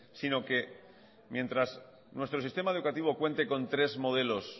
sino que mientras nuestro sistema educativo cuente con tres modelos